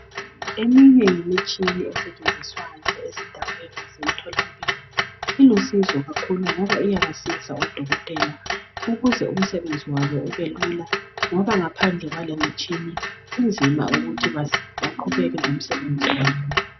Eminye imtshina esetshenziswayo ezindaweni zemtholampilo ilusizo kakhulu ngoba iyabasiza odokotela ukuze umsebenzi wabo ube lula ngoba ngaphandle kwalemitshini kunzima ukuthi baqhubeke ngomsebenzi wabo.